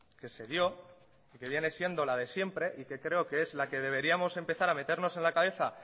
que se dio y que viene siendo la de siempre y que creo que es la que deberíamos de empezar a meternos en la cabeza